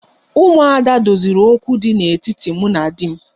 Umuada' doziri okwu dị n'etiti mụ na di m